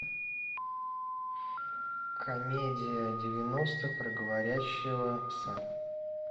комедия девяностых про говорящего пса